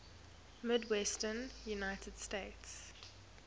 midwestern united states